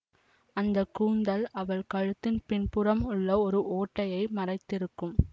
அந்த கூந்தல் அவள் கழுத்தின் பின்புறம் உள்ள ஒரு ஓட்டையை மறைத்திருக்கும்